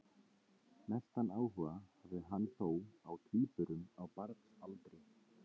Mestan áhuga hafði hann þó á tvíburum á barnsaldri.